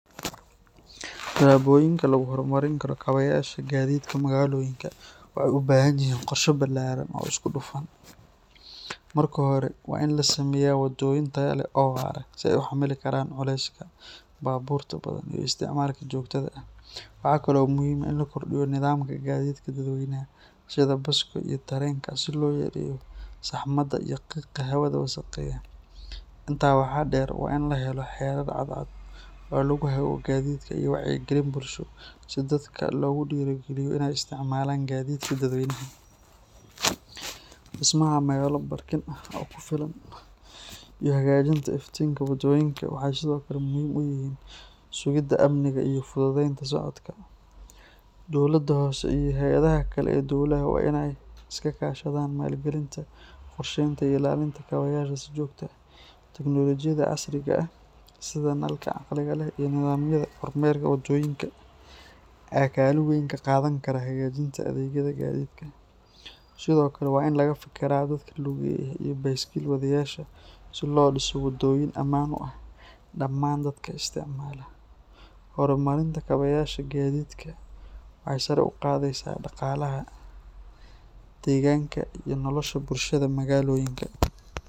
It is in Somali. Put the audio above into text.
Talabooyinka lagu horumarin karo kabayaasha gaadiidka magaalooyinka waxay u baahan yihiin qorshe ballaaran oo isku dhafan. Marka hore, waa in la sameeyaa waddooyin tayo leh oo waara si ay u xamili karaan culeyska baabuurta badan iyo isticmaalka joogtada ah. Waxa kale oo muhiim ah in la kordhiyo nidaamka gaadiidka dadweynaha sida baska iyo tareenka si loo yareeyo saxmada iyo qiiqa hawada wasakheeya. Intaa waxaa dheer, waa in la helo xeerar cadcad oo lagu hago gaadiidka iyo wacyigelin bulsho si dadka loogu dhiirrigeliyo inay isticmaalaan gaadiidka dadweynaha. Dhismaha meelo baarkin ah oo ku filan iyo hagaajinta iftiinka waddooyinka waxay sidoo kale muhiim u yihiin sugidda amniga iyo fududeynta socodka. Dowladda hoose iyo hay’adaha kale ee dowladda waa inay iska kaashadaan maalgelinta, qorsheynta iyo ilaalinta kabayaasha si joogto ah. Teknolojiyada casriga ah sida nalalka caqliga leh iyo nidaamyada kormeerka wadooyinka ayaa kaalin weyn ka qaadan kara hagaajinta adeegyada gaadiidka. Sidoo kale waa in laga fikiraa dadka lugeeya iyo baaskiil wadeyaasha si loo dhiso waddooyin ammaan u ah dhammaan dadka isticmaala. Horumarinta kabayaasha gaadiidka waxay sare u qaadaysaa dhaqaalaha, deegaanka iyo nolosha bulshada magaalooyinka.